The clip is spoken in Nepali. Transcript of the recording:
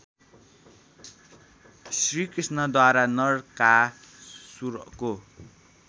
श्रीकृष्णद्वारा नरकासुरको